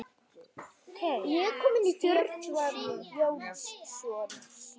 Stefán Jónsson syngur.